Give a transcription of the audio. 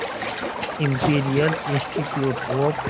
imperial institute of